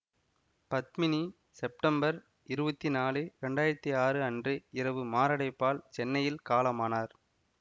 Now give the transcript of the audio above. Padmini September இருவத்தி நாலு இரண்டாயிரத்தி ஆறு அன்று இரவு மாரடைப்பால் சென்னையில் காலமானார்